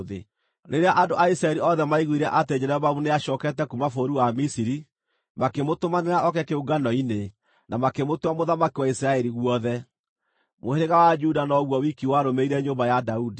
Rĩrĩa andũ a Isiraeli othe maaiguire atĩ Jeroboamu nĩacookete kuuma bũrũri wa Misiri, makĩmũtũmanĩra oke kĩũngano-inĩ, na makĩmũtua mũthamaki wa Isiraeli guothe. Mũhĩrĩga wa Juda noguo wiki warũmĩrĩire nyũmba ya Daudi.